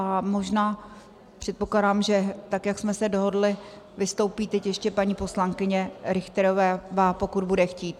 A možná, předpokládám, že tak jak jsme se dohodly, vystoupí teď ještě paní poslankyně Richterová, pokud bude chtít.